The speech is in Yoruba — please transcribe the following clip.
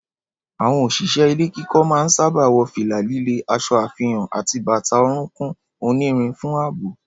Àwọn òṣìṣẹ́ ilé kíkọ́ máa ń sáábà wọ fìlà líle, aṣọ àfihàn àti bàtà orúnkún onírin fún ààbò.